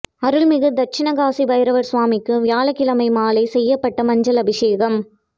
அருள்மிகு தட்சினகாசி பைரவர் சுவாமிக்கு வியாழக்கிழமை மாலை செய்யப்பட்ட மஞ்சள் அபிஷேகம்